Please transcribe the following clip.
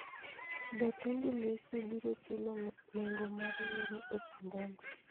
Be Tundu Lissu biro chulo nengo mar yiero e Chadema?